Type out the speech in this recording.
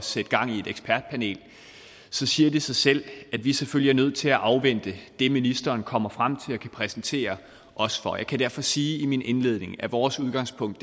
sætte gang i et ekspertpanel så siger det sig selv at vi selvfølgelig er nødt til at afvente det ministeren kommer frem til og kan præsentere os for jeg kan derfor sige i min indledning at vores udgangspunkt